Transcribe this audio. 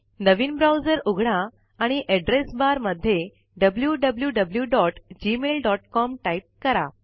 नवीन browser उघडा आणि address bar मध्ये wwwgmailcom टाईप करा